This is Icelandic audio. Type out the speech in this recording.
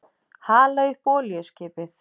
Hala upp olíuskipið.